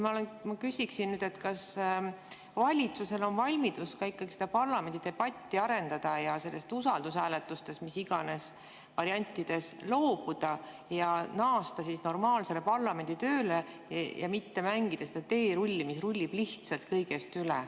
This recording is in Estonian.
Ma küsiksin, kas valitsusel on valmidus parlamendidebatti arendada, usaldushääletusest mis iganes variantides loobuda ja naasta normaalse parlamenditöö juurde ja mitte mängida seda teerulli, mis rullib lihtsalt kõigest üle.